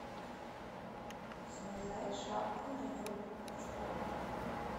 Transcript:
связать шапку на елку крючком